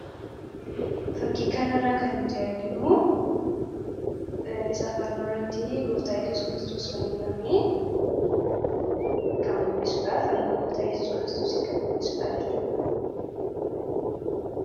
fakkii kana irraa kan nuti arginu isaa fannoo irratti gooftaa yesus kristos fannifamee kan mul'isuudha fannoo gooftaa yesus kiristosiin kan mul'isudha jechuudha